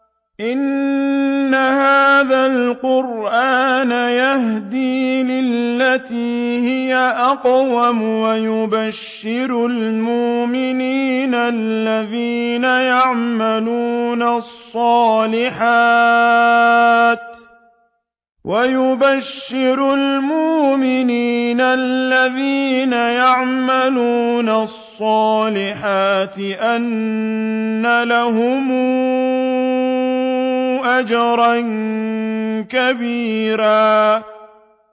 إِنَّ هَٰذَا الْقُرْآنَ يَهْدِي لِلَّتِي هِيَ أَقْوَمُ وَيُبَشِّرُ الْمُؤْمِنِينَ الَّذِينَ يَعْمَلُونَ الصَّالِحَاتِ أَنَّ لَهُمْ أَجْرًا كَبِيرًا